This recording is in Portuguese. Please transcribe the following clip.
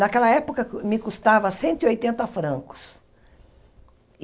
Naquela época, me custava cento e oittenta francos.